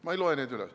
Ma ei loe neid üles.